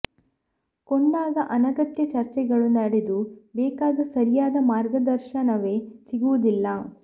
ಕೊಂಡಾಗ ಅನಗತ್ಯ ಚರ್ಚೆಗಳು ನಡೆದು ಬೇಕಾದ ಸರಿಯಾದ ಮಾರ್ಗದರ್ಶ ನವೇ ಸಿಗುವುದಿಲ್ಲ